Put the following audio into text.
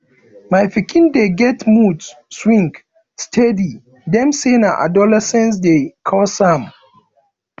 my pikin dey get mood swing steady dem say na adolescence dey cause am